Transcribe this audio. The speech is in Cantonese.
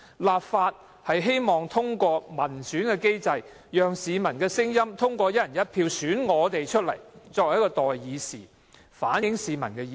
立法會希望通過民選機制，讓市民通過"一人一票"選出的代議士，反映意見。